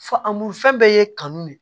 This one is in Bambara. Fa morifɛn bɛɛ ye kanu ne ye